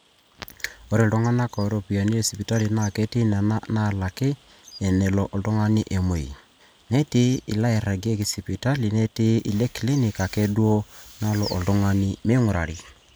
ore telulung'ata iropiyiani esipitali naa ketii nena naalaki enelo oltung'ani emuei, netii inaairagieki sipitali netii ineclinic ake duo nalo oltung'ani meing'urarri